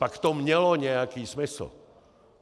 Pak to mělo nějaký smysl.